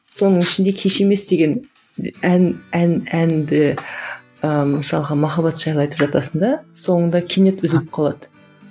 соның ішінде кеш емес деген ән ән әнді ііі мысалға махаббат жайлы айтып жатасың да соңында кенет үзіліп қалады